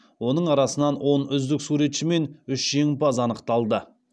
оның арасынан он үздік суретші мен үш жеңімпаз анықталды